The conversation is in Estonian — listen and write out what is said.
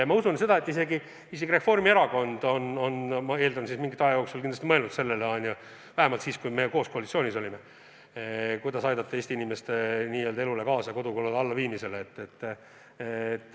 Ja ma usun seda, et isegi Reformierakond on mingi aja jooksul mõelnud sellele – vähemalt siis, kui meie koos koalitsioonis olime –, kuidas aidata kaasa Eesti inimeste elu kergendamisele, nende kodukulude allaviimisele.